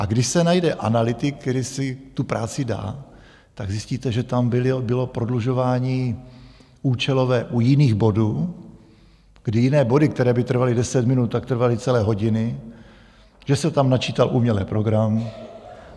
A když se najde analytik, který si tu práci dá, tak zjistíte, že tam bylo prodlužování účelové u jiných bodů, kdy jiné body, které by trvaly deset minut, tak trvaly celé hodiny, že se tam načítal umělý program.